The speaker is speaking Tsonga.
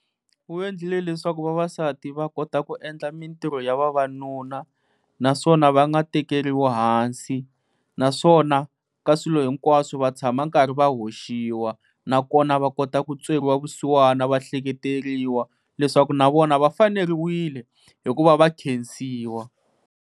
Wu endlile leswaku vavasati va kota ku endla mintirho ya vavanuna naswona va nga tekeriwi hansi. Naswona ka swilo hinkwaswo va tshama karhi va hoxiwa. Nakona va kota ku tweriwa vusiwana va ehleketeleriwa leswaku na vona va faneriwile hi ku va va khensiwa.